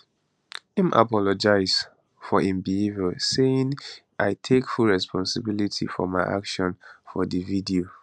im apologise for im behaviour saying i take full responsibility for my actions for di video